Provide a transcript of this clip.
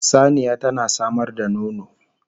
Saniya tana samar da nono